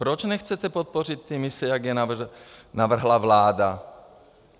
Proč nechcete podpořit ty mise, jak je navrhla vláda?